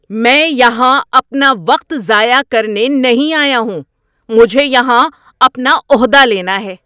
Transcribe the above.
میں یہاں اپنا وقت ضائع کرنے نہیں آیا ہوں! مجھے یہاں اپنا عہدہ لینا ہے۔